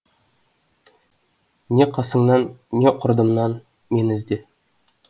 не қасыңнан не құрдымнан мені ізде